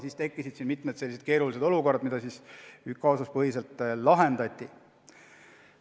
Nii tekkisid mitmed keerulised olukorrad, mida kaasuspõhiliselt lahendati.